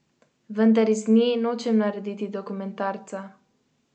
Vendar iz nje nočem narediti dokumentarca.